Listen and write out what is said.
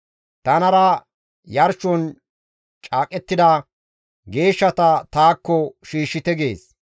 «Tanara yarshon caaqettida geeshshata taakko shiishshite» gees.